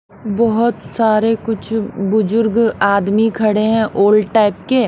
बहोत सारे कुछ बुजुर्ग आदमी खड़े हैं ओल्ड टाइप के--